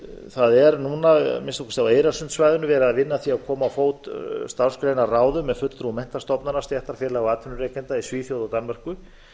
það er núna á k á eyrarsundssvæðinu verið að vinna að því að koma á fót starfsgreinaráðum með fulltrúum menntastofnana stéttarfélaga og atvinnurekenda í svíþjóð og danmörku